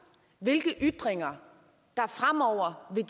hvilke ytringer der fremover vil